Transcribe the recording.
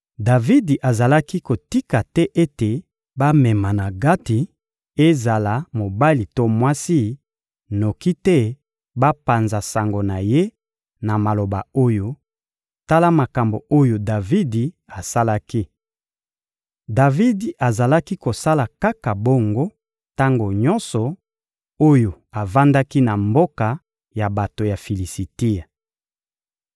Davidi azalaki kotika te ete bamema na Gati, ezala mobali to mwasi, noki te bapanza sango na ye na maloba oyo: «Tala makambo oyo Davidi asalaki.» Davidi azalaki kosala kaka bongo, tango nyonso oyo avandaki na mboka ya bato ya Filisitia.